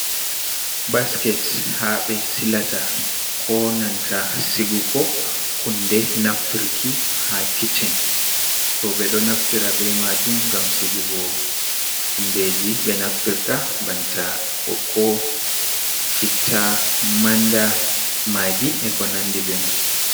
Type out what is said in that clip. Basket ha ɓe silata konanta sigugo hunde nafturki ha kiccen. roɓe ɗo naftira be majum ngam sigugo hundeji be naftirta banta ɓikko, citta, manda, magi e ko nandi be man.